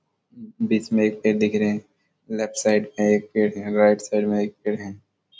बीच में एक पेड़ दिख रहे हैं लेफ्ट साइड में एक पेड़ हैं राइट साइड में एक पेड़ हैं।